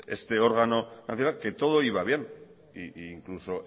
este órgano nacional que todo iba bien e incluso